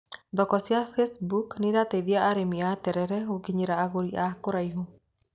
Thoko cia facebook nĩirateithia arĩmi a terere gũkinyĩra agũri a kũraihu.